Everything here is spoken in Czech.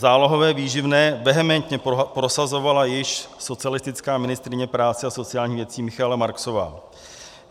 Zálohové výživné vehementně prosazovala již socialistická ministryně práce a sociálních věcí Michaela Marksová.